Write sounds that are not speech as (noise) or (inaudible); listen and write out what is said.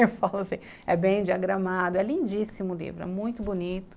(laughs) Eu falo assim, é bem diagramado, é lindíssimo o livro, é muito bonito.